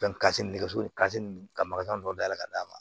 kasi nɛgɛso kasi ninnu ka maka dɔ dayɛlɛ ka d'a ma